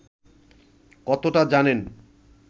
কতটা জানেন